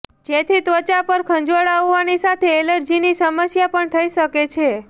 જેથી ત્વચા પર ખંજવાળ આવવાની સાથે એલર્જીની સમસ્યા પણ થઇ શકે છે